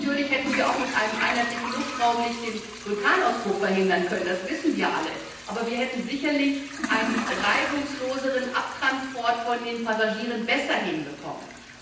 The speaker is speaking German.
Wir hätten natürlich auch mit einem einheitlichen Luftraum nicht den Vulkanausbruch verhindern können, das wissen wir alle, aber wir hätten sicherlich einen reibungslosen Abtransport der Passagiere besser hinbekommen.